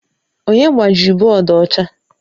Onye gbajiri bọọdụ ọcha?